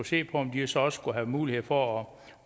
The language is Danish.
se på om de så også skulle have mulighed for